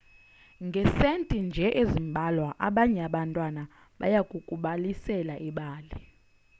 ngesenti nje ezimbalwa abanye abantwana bayakukubalisela ibali